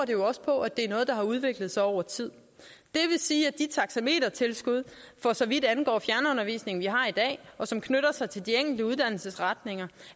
jo også på at det er noget der har udviklet sig over tid det vil sige at de taxametertilskud for så vidt angår fjernundervisning vi har i dag og som knytter sig til de enkelte uddannelsesretninger